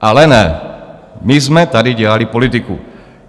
Ale ne, my jsme tady dělali politiku.